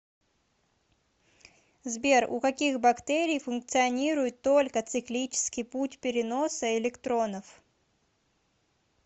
сбер у каких бактерий функционирует только циклический путь переноса электронов